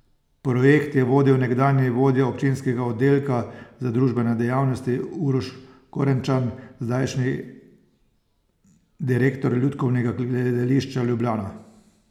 Projekt je vodil nekdanji vodja občinskega oddelka za družbene dejavnosti Uroš Korenčan, zdajšnji direktor Lutkovnega gledališča Ljubljana.